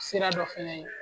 Sira dɔ fana ye